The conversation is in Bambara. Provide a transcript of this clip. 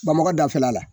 Bamakɔ dafɛla la